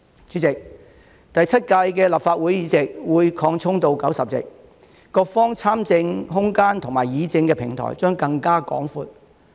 主席，第七屆立法會議席會擴充到90席，各方參政空間及議政的平台將更加廣闊。